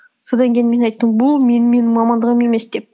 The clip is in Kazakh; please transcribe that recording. содан кейін мен айттым бұл менің мамандығым емес деп